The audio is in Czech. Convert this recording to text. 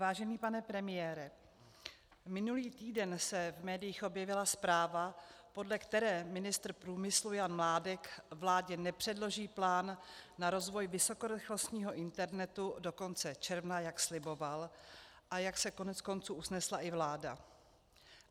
Vážený pane premiére, minulý týden se v médiích objevila zpráva, podle které ministr průmyslu Jan Mládek vládě nepředloží plán na rozvoj vysokorychlostního internetu do konce června, jak sliboval a jak se koneckonců usnesla i vláda.